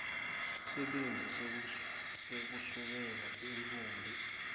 sibindzi sekusukela intfombi